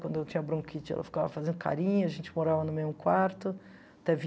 Quando eu tinha bronquite, ela ficava fazendo carinho, a gente morava no mesmo quarto até